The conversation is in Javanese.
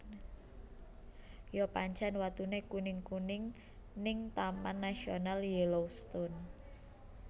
Yo pancen watune kuning kuning sing ning Taman Nasional Yellowstone